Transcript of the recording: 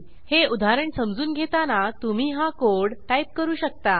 हे उदाहरण समजून घेताना तुम्ही हा कोड टाईप करू शकता